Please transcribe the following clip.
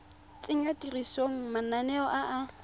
tsenya tirisong mananeo a a